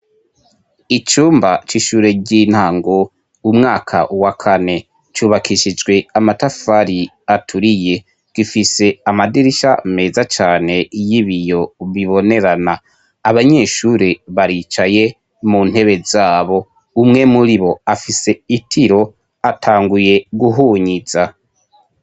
Icumba c'ishure ry'intango umwaka wa kane, cubakishijwe amatafari aturiye, gifise amadirisha meza cane y'ibiyo bibonerana. Abanyeshure baricaye muntebe zabo umwe muribo afise itiro atanguye guhunyiza.